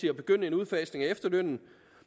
at begynde en udfasning af efterlønnen